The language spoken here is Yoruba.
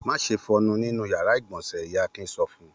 Má ṣe fọyín nínú ìyàrá-ìgbọ̀nsẹ̀! Ìyá Akin sọ fún un.